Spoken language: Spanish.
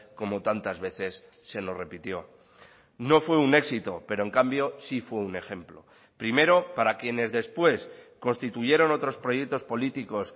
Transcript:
como tantas veces se nos repitió no fue un éxito pero en cambio sí fue un ejemplo primero para quienes después constituyeron otros proyectos políticos